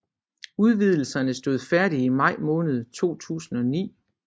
Udvidelserne stod færdige i maj måned 2009